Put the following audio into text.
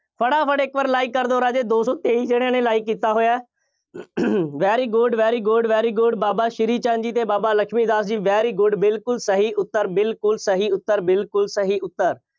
ਫਟਾਫਟ ਇੱਕ ਵਾਰ like ਕਰ ਦਿਓ ਰਾਜੇ, ਦੋ ਸੌ ਤੇਈ ਜਣਿਆਂ ਨੇ like ਕੀਤਾ ਹੋਇਆ। very good, very good, very good Baba Shri Chand ji ਅਤੇ ਬਾਬਾ ਲਖਮੀ ਦਾਸ ਜੀ very good ਬਿਲਕੁੱਲ ਸਹੀ ਉੱਤਰ, ਬਿਲਕੁੱਲ ਸਹੀ ਉੱਤਰ, ਬਿਲਕੁੱਲ ਸਹੀ ਉੱਤਰ।